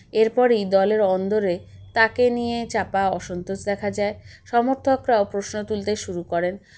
এর পরেই দলের অন্দরে তাকে নিয়ে চাপা অসন্তোষ দেখা যায় সমর্থকরাও প্রশ্ন তুলতে শুরু করেন